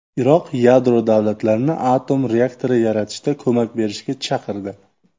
Iroq yadro davlatlarini atom reaktori yaratishda ko‘mak berishga chaqirdi.